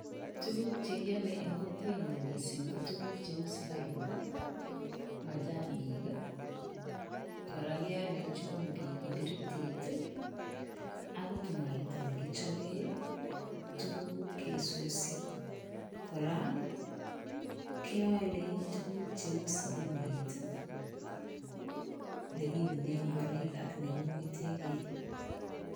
Tukuk chekeal en kokwenyun missing kotukuk cheu sukaruk, machanik, kora keale chumbik, kiberitit akot mwaita nekichopen tukuk kesusi, kora keale tukuk cheu sabunit nekiunen ngoroik ak nekimwetegee.